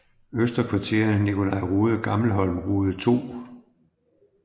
Øster Kvarter Nicolai Rode Gammelholm Rode 2